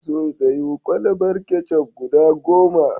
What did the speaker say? Sun sayo kwalabar ketchup guda goma.